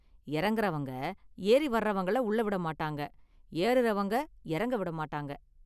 இறங்குறவங்க ஏறி வர்றவங்கள உள்ள விட மாட்டாங்க, ஏறுரவங்க இறங்க விட மாட்டாங்க.